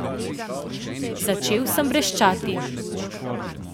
Začel sem vreščati.